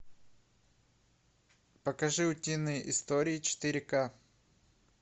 покажи утиные истории четыре ка